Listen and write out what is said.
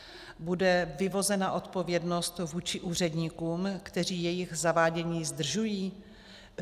Bude vyvozena odpovědnost vůči úředníkům, kteří jejich zavádění zdržují?